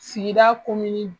Sigida komini